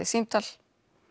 símtal